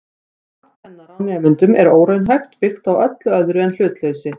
Mat kennara á nemendum er óraunhæft, byggt á öllu öðru en hlutleysi.